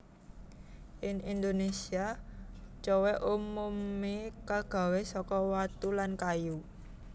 Ing Indonésia cowèk umumé kagawé saka watu lan kayu